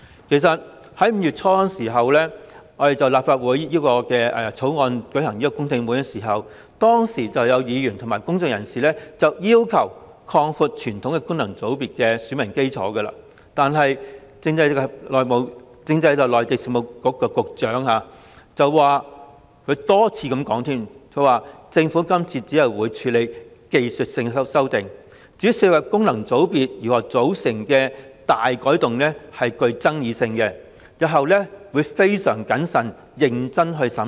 其實在5月初，立法會曾就《條例草案》舉行公聽會，當時有議員及公眾人士要求擴闊傳統功能界別的選民基礎，但政制及內地事務局局長多次重申，政府今次只會處理技術性修訂，而涉及功能界別如何組成的大改動具爭議性，因此會在日後非常謹慎和認真地審視。